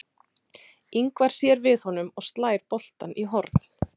Ingvar sér við honum og slær boltann í horn.